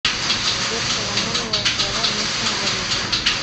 сбер соломоновы острова местная валюта